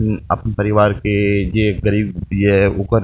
उम्म अपन परिवार के जे गरीब ये ओकर --